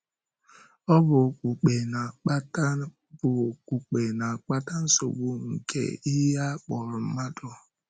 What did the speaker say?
Ọ̀ bụ okpùkpe na-akpata bụ okpùkpe na-akpata nsogbu nke ihe a kpọrọ mmadụ?